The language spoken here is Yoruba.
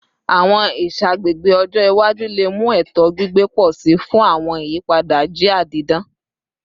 Awọn iṣagbega ọjọ iwaju le mu eto gbigbe pọ si fun awọn iyipada jia didan